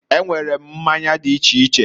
E nwere mmanya di iche iche.